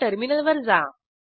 आता टर्मिनलवर जा